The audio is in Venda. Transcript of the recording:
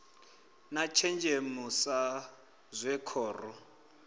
na thenzhemo sa zwe khoro